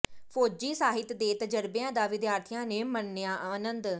ਫੌਜੀ ਸਾਹਿਤ ਤੇ ਤਜਰਬਿਆਂ ਦਾ ਵਿਦਿਆਰਥੀਆਂ ਨੇ ਮਾਣਿਆ ਆਨੰਦ